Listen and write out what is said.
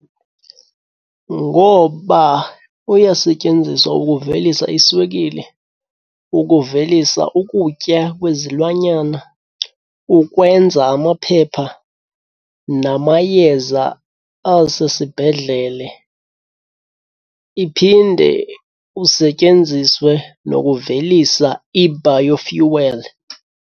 Ngoba uyasetyenziswa ukuvelisa iswekile, ukuvelisa ukutya kwezilwanyana, ukwenza amaphepha namayeza asesibhedlele. Iphinde usetyenziswe nokuvelisa i-biofuel.